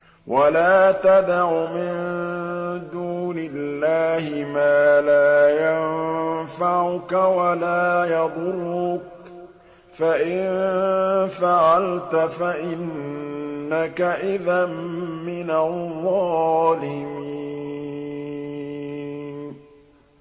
وَلَا تَدْعُ مِن دُونِ اللَّهِ مَا لَا يَنفَعُكَ وَلَا يَضُرُّكَ ۖ فَإِن فَعَلْتَ فَإِنَّكَ إِذًا مِّنَ الظَّالِمِينَ